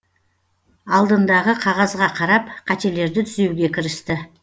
алдындағы қағазға қарап қателерді түзеуге кірісті